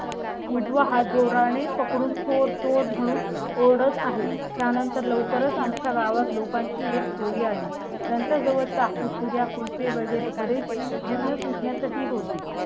उजवा हा जोरा ने पकडून चोर चोर म्हणून ओळख आहे. त्यानंतर लवकरच आमच्या गावात लोकांची एक टोळी आली. त्यांच्या जवळ चाकू, सुऱ्या, कुल पे वगैरे बरेच जिन्नस विकण्या साठी होती.